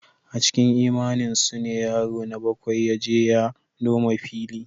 A cikin imaninsu ne yaro na bakwai ya je ya noma fili.